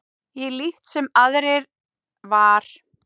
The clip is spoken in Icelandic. Ég líkt sem aðrir var.